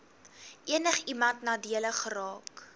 enigiemand nadelig geraak